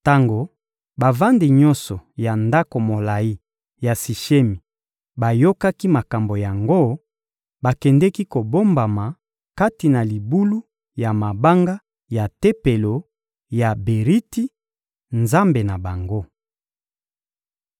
Tango bavandi nyonso ya ndako molayi ya Sishemi bayokaki makambo yango, bakendeki kobombama kati na libulu ya mabanga ya tempelo ya Beriti, nzambe na bango.